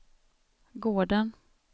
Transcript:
gården